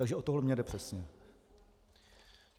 Takže o to mi jde přesně.